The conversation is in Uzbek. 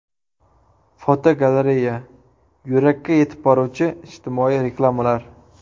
Fotogalereya: Yurakka yetib boruvchi ijtimoiy reklamalar.